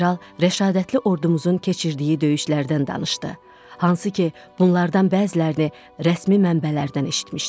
General rəşadətli ordumuzun keçirdiyi döyüşlərdən danışdı, hansı ki, bunlardan bəzilərini rəsmi mənbələrdən eşitmişdik.